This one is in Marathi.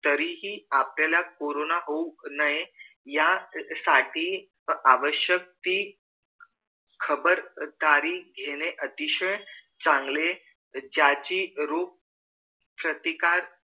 तरीही आपल्याला कोरोना होऊ नये यासाठी आवश्यक ती खबरदारी घेणे अतिशय चांगले ज्याची रोग प्रतिकार